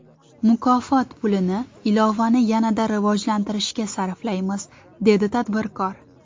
Mukofot pulini ilovani yanada rivojlantirishga sarflaymiz”, dedi tadbirkor.